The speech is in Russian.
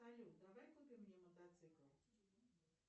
салют давай купим мне мотоцикл